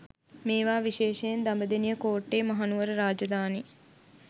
මේවා විශේෂයෙන් දඹදෙනිය කෝට්ටේ මහනුවර රාජධානී